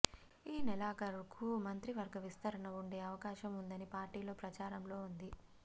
ఈ నెలాఖరుకు మంత్రివర్గ విస్తరణ ఉండే అవకాశం ఉందని పార్టీలో ప్రచారంలో ఉంది